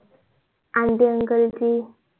ची